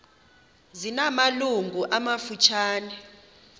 zina malungu amafutshane